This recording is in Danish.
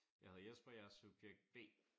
Jeg hedder Jesper. Jeg er subjekt B